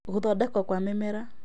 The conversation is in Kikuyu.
Gũthondekwo kwa mĩmera